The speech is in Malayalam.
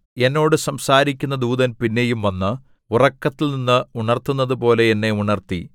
എന്നോട് സംസാരിക്കുന്ന ദൂതൻ പിന്നെയും വന്ന് ഉറക്കത്തിൽനിന്ന് ഉണർത്തുന്നതുപോലെ എന്നെ ഉണർത്തി